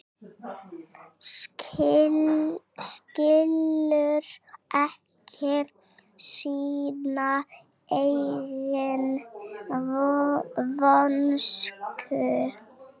Skilur ekki sína eigin vonsku.